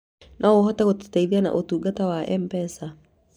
No hote gũgũteithia na ũtungata wa M-Pea